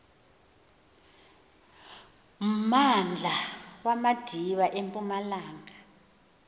mmandla wamadiba empumalanga